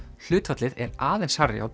hlutfallið er aðeins hærra hjá